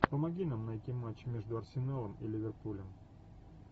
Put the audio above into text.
помоги нам найти матч между арсеналом и ливерпулем